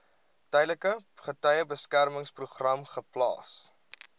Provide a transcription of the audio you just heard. tydelike getuiebeskermingsprogram geplaas